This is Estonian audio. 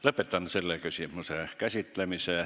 Lõpetan selle küsimuse käsitlemise.